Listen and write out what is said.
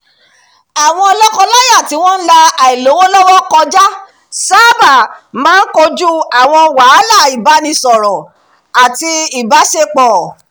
àwọn lọ́kọ-láya tí wọ́n ń la àìlówólọ́wọ́ kọjá sábà máa ń kojú àwọn wàhálà ìbánisọ̀rọ̀ àti ìbáṣepọ̀